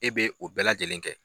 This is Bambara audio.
E bɛ o bɛɛ lajɛlen kɛ.